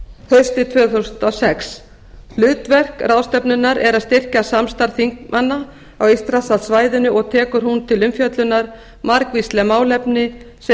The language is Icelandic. haustið tvö þúsund og sex hlutverk ráðstefnunnar er að styrkja samstarf þingmanna á eystrasaltssvæðinu og tekur hún til umfjöllunar margvísleg málefni sem